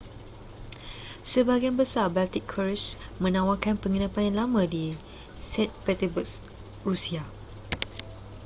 sebahagian besar baltic cruises menawarkan penginapan yang lama di st petersburg rusia